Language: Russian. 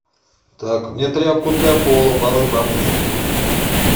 так мне тряпку для пола полы помыть